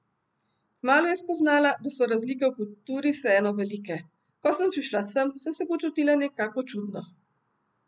Kmalu je spoznala, da so razlike v kulturi vseeno velike: 'Ko sem prišla sem, sem se počutila nekako čudno.